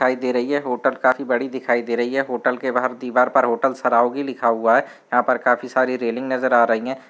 दिखाई दे रही है होटल काफी बड़ी दिखाई दे रही है होटल के बाहर दीवार पर होटल सरौगी लिखा हुआ है यहाँ पर काफी सारी रेलिंग नजर आ रही हैं।